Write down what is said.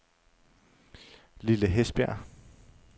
Lille Hesbjerg